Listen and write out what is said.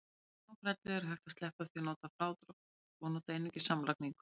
Með smábrellu er hægt að sleppa því að nota frádrátt og nota einungis samlagningu.